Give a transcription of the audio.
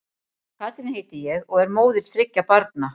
Katrín heiti ég og og er móðir þriggja barna.